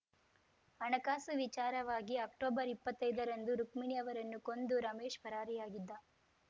ಹಣಕಾಸು ವಿಚಾರವಾಗಿ ಅಕ್ಟೊಬರ್ಇಪ್ಪತ್ತೈದರಂದು ರುಕ್ಮಿಣಿ ಅವರನ್ನು ಕೊಂದು ರಮೇಶ್‌ ಪರಾರಿಯಾಗಿದ್ದ